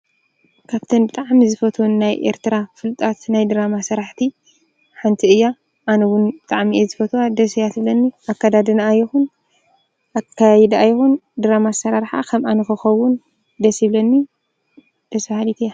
ካብተን ብጥዓሚ ዝፈትውን ናይ ኤርትራ ፍልጣት ናይ ድራማሠራሕቲ ሓንቲ እያ ኣነውን ጥዓሚአ ዝፈትዋ ደሰያትብለኒ ኣካዳድና ኣየኹን ኣካይድ ኣይኹን ድራማ ሠራርሓ ኸም ኣነ ኮኸውን ደሲይብለኒ ደሰሃዲቲ እያ።